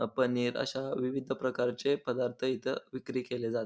अ पनीर अश्या विविध प्रकारचे पदार्थ इथ विक्री केले जात.